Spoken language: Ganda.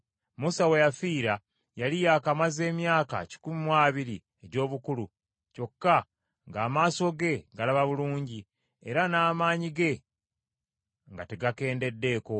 Musa we yafiira yali nga yakamaze emyaka kikumi mu abiri egy’obukulu; kyokka ng’amaaso ge galaba bulungi, era n’amaanyi ge nga tegakendeddeeko.